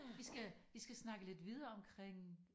Vi skal vi skal snakke lidt videre omkring